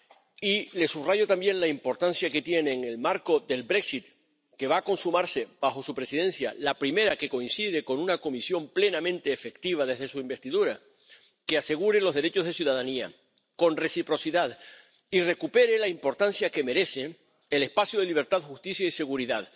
Y le subrayo también la importancia que tiene en el marco del Brexit que va a consumarse bajo su Presidencia —la primera que coincide con una Comisión plenamente efectiva desde su investidura—, que asegure los derechos de ciudadanía, con reciprocidad, y recupere la importancia que merece el espacio de libertad, justicia y seguridad.